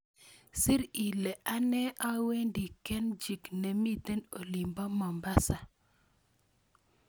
Sir ile anee awendi kenchic nemiten olinbo Mombasa